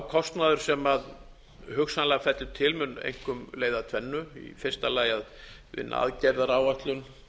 kostnaður sem hugsanlega fellur til mun einkum leiða af tvennu í fyrsta lagi að vinna aðgerðaáætlun